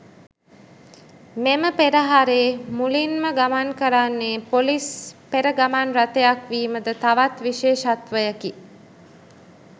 මෙම පෙරහරේ මුලින්ම ගමන් කරන්නේ පොලිස් පෙර ගමන් රථයක් වීමද තවත් විශේෂත්වයකි.